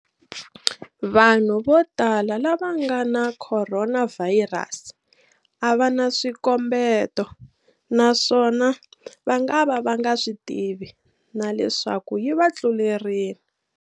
Vanhu vo tala lava va nga na khoronavhayirasi a va na swikombeto naswona va ngava va nga swi tivi na leswaku yi va tlulerile.